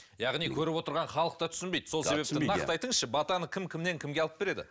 яғни көріп отырған халық та түсінбейді сол себепті нақты айтыңызшы батаны кім кімнен кімге алып береді